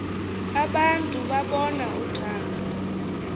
abantu babona uthando